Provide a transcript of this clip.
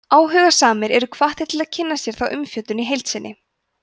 áhugasamir eru hvattir til að kynna sér þá umfjöllun í heild sinni